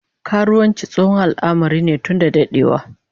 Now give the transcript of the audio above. Karuwanci tsohon al'amari ne tun dadewa